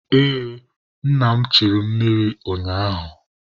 Ee, nna m echuru mụ mmiri ụnyaahụ.